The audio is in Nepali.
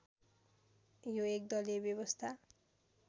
यो एकदलीय व्यवस्था